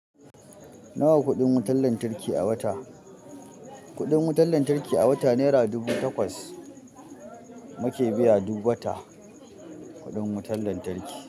Nawa kuɗin wutar lantarki a wata? Kuɗin wutar lantarki a wata naira dubu takwas mu ke biya duk wata kuɗin wutar lantarki.